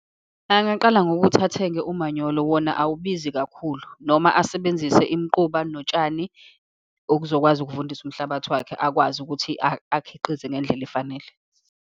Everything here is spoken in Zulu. Angaqala ngokuthi athenge umanyolo, wona awubizi kakhulu, noma asebenzise imiquba notshani, ukuzokwazi ukuvundisa umhlabathi wakhe, akwazi ukuthi akhiqize ngendlela efanele.